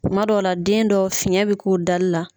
Kuma dɔw la den dɔ fiyɛn bɛ k'u dali la.